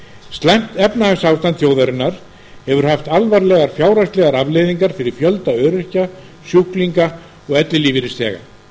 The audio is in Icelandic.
slæmt efnahagsástand þjóðarinnar hefur haft alvarlegar fjárhagslegar afleiðingar fyrir fjölda öryrkja sjúklinga og ellilífeyrisþega